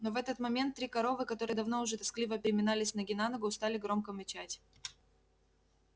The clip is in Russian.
но в этот момент три коровы которые давно уже тоскливо переминались с ноги на ногу стали громко мычать